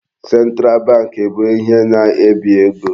Central bank bụ ihe na-ebi ego.